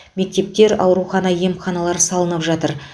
мектептер аурухана емханалар салынып жатыр